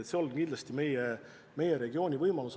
Selles on kindlasti üks meie regiooni võimalus.